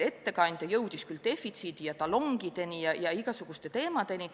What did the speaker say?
Ettekandja jõudis defitsiidi ja talongideni ja igasuguste muude teemadeni.